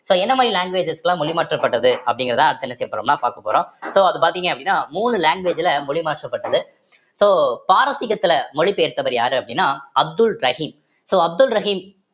so என்ன மாதிரி languages எல்லாம் மொழி மாற்றப்பட்டது அப்படிங்கிறதா அடுத்து என்ன செய்யப் போறோம்ன்னா பார்க்க போறோம் so அது பார்த்தீங்க அப்படின்னா மூணு language ல மொழி மாற்றப்பட்டது so பாரசீகத்தில மொழிபெயர்த்தவர் யாரு அப்படின்னா அப்துல் ரஹீம் so அப்துல் ரஹீம்